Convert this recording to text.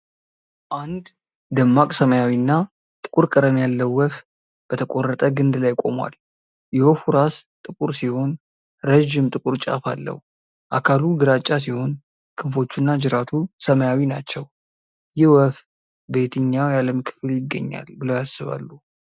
አንድ ደማቅ ሰማያዊ እና ጥቁር ቀለም ያለው ወፍ በተቆረጠ ግንድ ላይ ቆሞል። የወፉ ራስ ጥቁር ሲሆን ረዥም ጥቁር ጫፍ አለው። አካሉ ግራጫ ሲሆን፣ ክንፎቹና ጅራቱ ሰማያዊ ናቸው። ይህ ወፍ በየትኛው የዓለም ክፍል ይገኛል ብለው ያስባሉ?